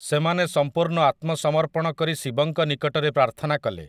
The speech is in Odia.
ସେମାନେ ସମ୍ପୂର୍ଣ୍ଣ ଆତ୍ମସମର୍ପଣ କରି ଶିବଙ୍କ ନିକଟରେ ପ୍ରାର୍ଥନା କଲେ ।